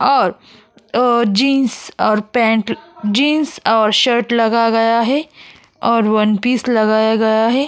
और अ जिन्स और पेंट जिन्स और शर्ट लगा गया है और वन पीस लगाया गया है।